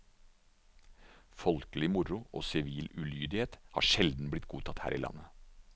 Folkelig moro og sivil ulydighet har sjelden blitt godtatt her i landet.